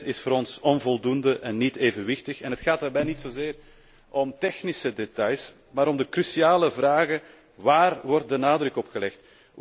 Dit pakket is voor ons onvoldoende en niet evenwichtig. Het gaat daarbij niet zozeer om technische details, maar om de cruciale vragen waarop wordt de nadruk gelegd?